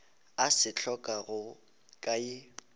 a se hlokago ka ye